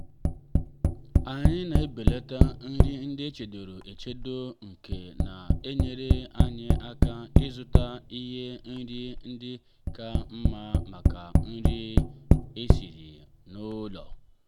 anyị na-ebelata nri ndị echedoro echedo nke na-enyere anyị aka ị zụta ihe nri ndị ka mma maka nri esiri n'ụlọ.